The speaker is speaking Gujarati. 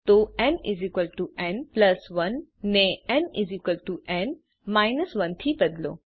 તો nn 1 ને nn 1 થી બદલો